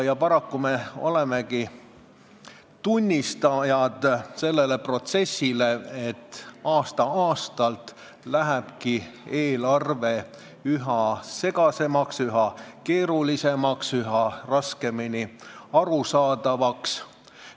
Paraku me olemegi selle protsessi tunnistajad, et aasta-aastalt läheb eelarve üha segasemaks, üha keerulisemaks, üha raskemini arusaadavaks.